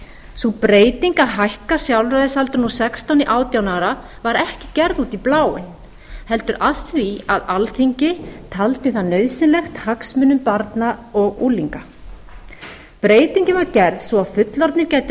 sú breyting að hækka sjálfræðisaldurinn úr sextán í átján ára var ekki gerð út í bláinn heldur af því að alþingi taldi það nauðsynlegt hagsmunum barna og unglinga breytingin var gerð svo fullorðnir gætu